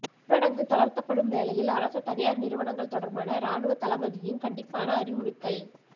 ஊரடங்கு தளர்த்தப்படும் வேளையில் அரச தனியார் நிறுவனங்கள் தொடர்பான இராணுவத்தளபதியின் கண்டிப்பான அறிவுறுத்தல்